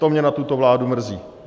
To mě na tuto vládu mrzí.